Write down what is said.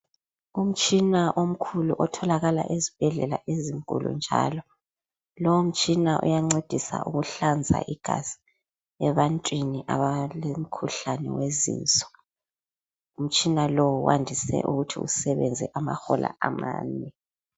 Umtshina omkhulu otholakala ezibhedlela ezinkulu njalo lowo mtshina uyancedisa ukuhlanza igaza ebantwini abalomkhuhlane wezinso. Umtshina lowu wandise ukuthi usebenze amahola amane.